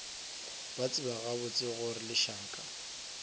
ba tseba gabotse gore lešaka